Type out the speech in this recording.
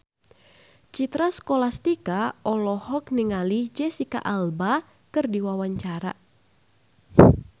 Citra Scholastika olohok ningali Jesicca Alba keur diwawancara